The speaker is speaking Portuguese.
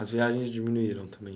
As viagens diminuíram também.